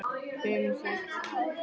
Fimm, sex ár?